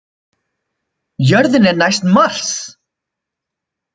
Jörðin er næst Mars!